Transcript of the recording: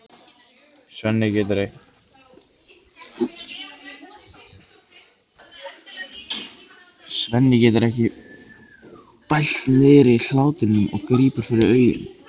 Svenni getur ekki bælt niðri hláturinn og grípur fyrir augun.